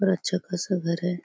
--पर अच्छा खासा घर है।